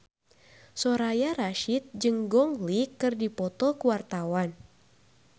Soraya Rasyid jeung Gong Li keur dipoto ku wartawan